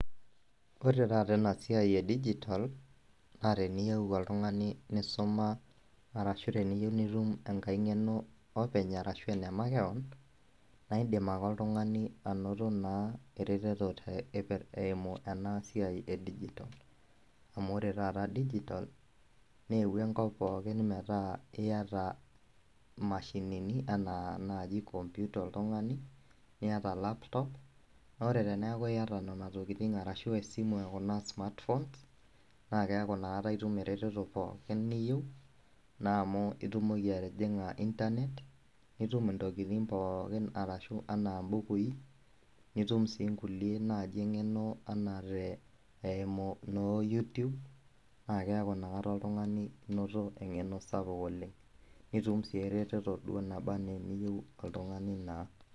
Ore taata enasiai e digital teniyeu nisuma ashu teneyieu nitum engeno openyashu enemakeon na indim ake oltungani anoto naa erertoto aimu enasiai e digital amu ore taata digital neuo enkop poookin metaa iyata mashinini anaa nai komputa oltungani niata laptop na teneaku nai iyata nonatokitin ashu esimu kuna e smartphone na keaku na inakata itum eretoto pookin niyieu naa amu itumoki atijinga nitum ntokitin pookin anaa mbukui nitum si nkulie engeno anaa eimu noo youtube na keaku na oltungani inoto engeno sapuk oleng nitum na eretoto nabaa ana niyieu toltungani.